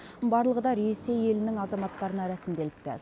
барлығы да ресей елінің азаматтарына рәсімделіпті